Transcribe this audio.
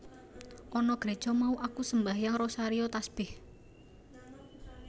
Ana Gréja mau aku sembahyang rosario tasbèh